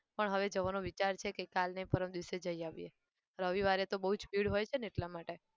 પણ હવે જવાનો વિચાર છે કે કાલ નહિ ને પરમ દિવસે જઈ આવ્યે. રવિવારે તો બહુ જ ભીડ હોય છે ને એટલા માટે.